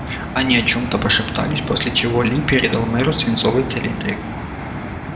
они о чём-то пошептались после чего ли передал мэру свинцовый цилиндрик